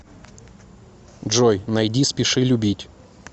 джой найди спеши любить